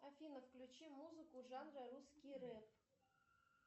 афина включи музыку жанра русский рэп